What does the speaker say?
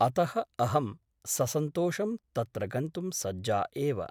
अतः अहं ससन्तोषं तत्र गन्तुं सज्जा एव ।